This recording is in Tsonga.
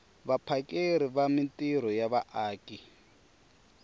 vaphakeri va mintirho ya vaaki